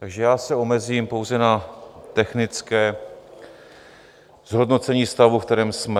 Takže já se omezím pouze na technické zhodnocení stavu, ve kterém jsme.